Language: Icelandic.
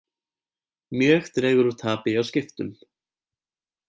Mjög dregur úr tapi hjá Skiptum